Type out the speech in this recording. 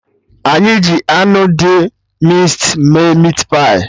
Anyị ji anụ dị mịnced mee meatpie